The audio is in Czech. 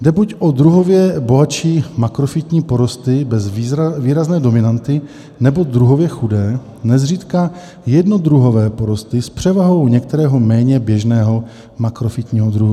Jde buď o druhově bohatší makrofytní porosty bez výrazné dominanty nebo druhově chudé, nezřídka jednodruhové porosty s převahou některého méně běžného makrofytního druhu.